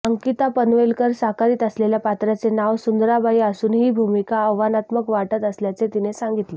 अंकिता पनवेलकर साकारीत असलेल्या पात्राचे नाव सुंदराबाई असून ही भूमिका आव्हानात्मक वाटत असल्याचे तिने सांगितले